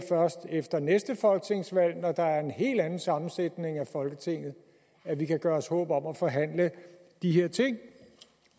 efter næste folketingsvalg når der er en helt anden sammensætning i folketinget at vi kan gøre os håb om at forhandle de her ting